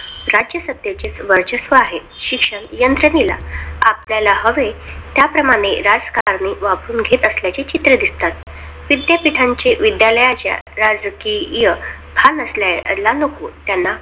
शिक्षण यंत्रणेला आपल्याला हवे, त्याप्रमाणे राजकारणी वापरून घेत असल्याचे चित्रे दिसतात. विद्यापीठांचे विद्यालयाच्या हे राजकीय भान असल्याला नको.